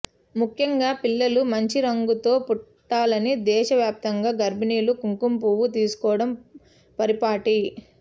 ముఖ్యంగా పిల్లలు మంచి రంగుతో పుట్టాలని దేశ వ్యాప్తంగా గర్భిణులు కుంకుమ పువ్వు తీసుకోవడం పరిపాటి